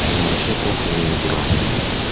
на вообще похуй до него бро